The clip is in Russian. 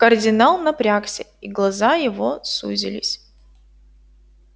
кардинал напрягся и глаза его сузились